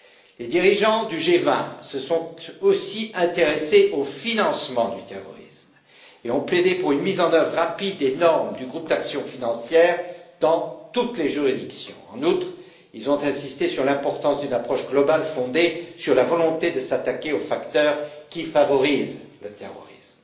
Les dirigeants du G20 se sont aussi intéressés au financement du terrorisme et ont plaidé pour une mise en œuvre rapide des normes du groupe d'action financière dans toutes les juridictions. En outre, ils ont insisté sur l'importance d'une approche globale fondée sur la volonté de s'attaquer aux facteurs qui favorisent le terrorisme.